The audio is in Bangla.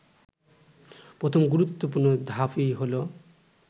প্রথম গুরুত্বপূর্ণ ধাপই হলো